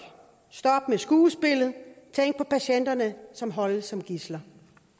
stop med skuespillet tænk på patienterne som holdes som gidsler